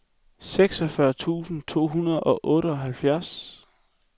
seksogfyrre tusind to hundrede og otteoghalvtreds